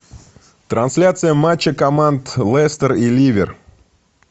трансляция матча команд лестер и ливер